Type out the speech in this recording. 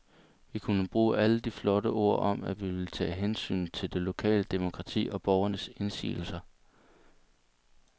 Vi kunne bruge alle de flotte ord om, at vi ville tage hensyn til det lokale demokrati og borgernes indsigelser.